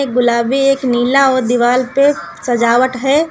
गुलाबी एक नीला और दीवाल पे सजावट है।